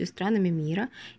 и странами мира